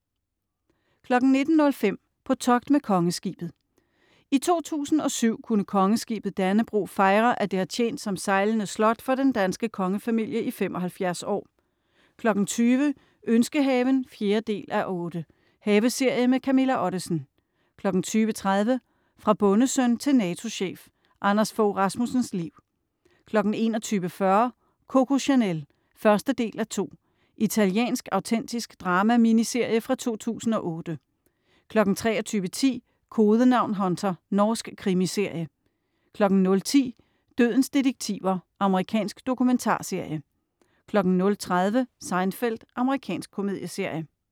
19.05 På togt med Kongeskibet. I 2007 kunne Kongeskibet Dannebrog fejre, at det har tjent som sejlende slot for den danske kongefamilie i 75 år 20.00 Ønskehaven 4:8. Haveserie med Camilla Ottesen 20.30 Fra bondesøn til NATO-chef. Anders Fogh Rasmussens liv 21.40 Coco Chanel. 1:2 Italiensk autentisk drama-miniserie fra 2008 23.10 Kodenavn Hunter. Norsk krimiserie 00.10 Dødens detektiver. Amerikansk dokumentarserie 00.30 Seinfeld. Amerikansk komedieserie